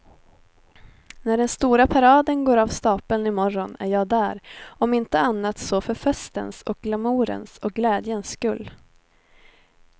När den stora paraden går av stapeln i morgon är jag där, om inte annat så för festens och glamourens och glädjens skull.